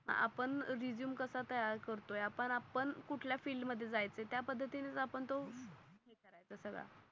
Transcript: आपण रेझूमे कसा तयार करतोय आपण आपण कुठल्या फिल्ड मध्ये जायच ये त्या पद्धतीने आपण तो हे करायचा सगळा